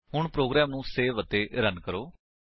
ਹੁਣ ਪ੍ਰੋਗਰਾਮ ਨੂੰ ਸੇਵ ਅਤੇ ਰਨ ਕਰੋ